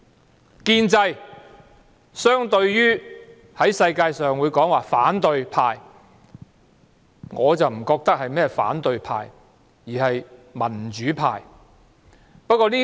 在國際上，建制相對的就是反對派，但我覺得在香港，他們不是反對派而是民主派。